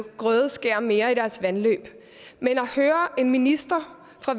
grødeskære mere i deres vandløb men at høre en minister fra